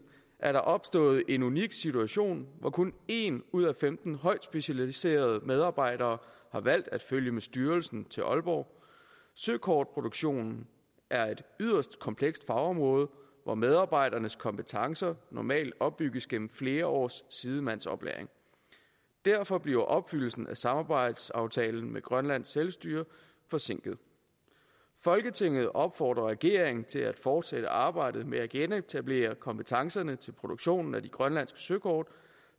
er der opstået en unik situation hvor kun en ud af femten højt specialiserede medarbejdere har valgt at følge med styrelsen til aalborg søkortproduktion er et yderst komplekst fagområde hvor medarbejdernes kompetencer normalt opbygges gennem flere års sidemandsoplæring derfor bliver opfyldelsen af samarbejdsaftalen med grønlands selvstyre forsinket folketinget opfordrer regeringen til at fortsætte arbejdet med at genetablere kompetencerne til produktionen af de grønlandske søkort